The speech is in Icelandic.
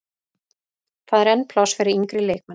Það er enn pláss fyrir yngri leikmenn.